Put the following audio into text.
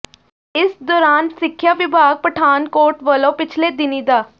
ਇਸ ਦੌਰਾਨ ਸਿੱਖਿਆ ਵਿਭਾਗ ਪਠਾਨਕੋਟ ਵੱਲੋਂ ਪਿਛਲੇ ਦਿਨੀਂ ਡਾ